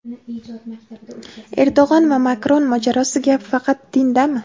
Erdo‘g‘an va Makron mojarosi: gap faqat dindami?.